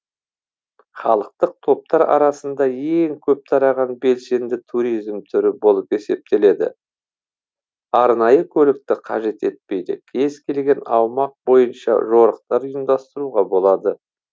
халықтық топтар арасында ең көп тараған белсенді туризм түрі болып есептеледі арнайы көлікті қажет етпейді кез келген аумақ бойынша жорықтар ұйымдастыруға болады